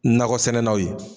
Nakɔ sɛnɛnanw ye